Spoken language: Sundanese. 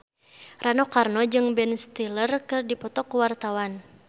Rano Karno jeung Ben Stiller keur dipoto ku wartawan